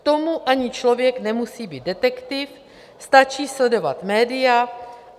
K tomu ani člověk nemusí být detektiv, stačí sledovat média.